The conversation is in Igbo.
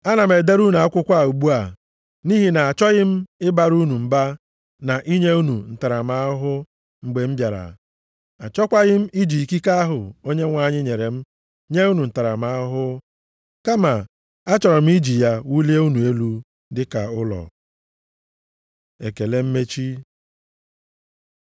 Ana m edere unu akwụkwọ a ugbu a, nʼihi na-achọghị m ịbara unu mba na inye unu ntaramahụhụ mgbe m bịara. Achọkwaghị m iji ikike ahụ Onyenwe anyị nyere m nye unu ntaramahụhụ, kama achọrọ m iji ya wulie unu elu dịka ụlọ. Ekele mmechi